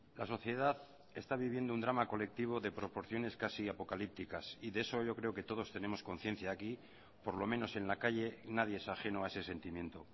la sociedad está viviendo un drama colectivo de proporciones casi apocalípticas y de eso yo creo que todos tenemos conciencia aquí por lo menos en la calle nadie es ajeno a ese sentimiento